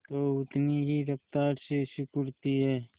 तो उतनी ही रफ्तार से सिकुड़ती है